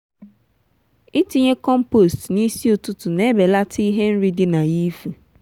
itinye compost n'isi ụtụtụ na-ebelata ihe nri di na ya ifu.